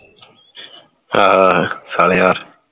ਆਹ ਸਾਲੇਹਾਰ